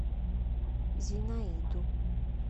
зинаиду